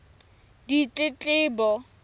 ditletlebo